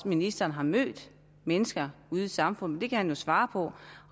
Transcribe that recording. ministeren har mødt mennesker ude i samfundet det kan han jo svare på